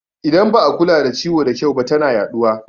Idan ba a kula da ciwo da kyau ba tana yaɗuwa